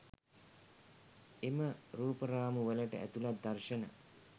එම රුපරාමු වලට ඇතුළත් දර්ශන